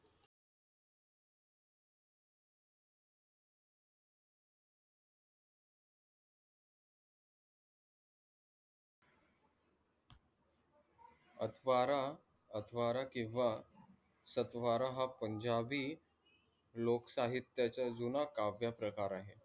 अकबरा अकबरा हा स्त्बारा हा पंजाबी लोकसाहित्याचा जुना काव्य प्रकार आहे.